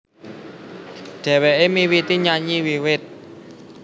Dhèwèké miwiti nyanyi wiwit